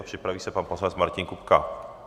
A připraví se pan poslanec Martin Kupka.